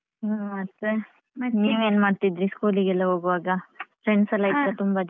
ಹ್ಮ ಮತ್ತೇ ನೀವೇನ್ ಮಾಡ್ತಿದ್ರಿ school ಗೆ ಎಲ್ಲ ಹೋಗುವಾಗ friends ಎಲ್ಲ ಇತ್ತ ತುಂಬ ಜನ.